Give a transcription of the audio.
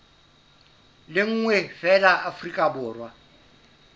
le nngwe feela afrika borwa